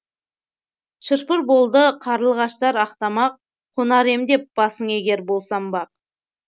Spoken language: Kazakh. шыр пыр болды қарлығаштар ақ тамақ қонар ем деп басыңа егер болсам бақ